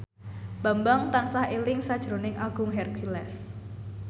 Bambang tansah eling sakjroning Agung Hercules